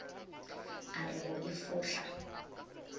a re go e fohla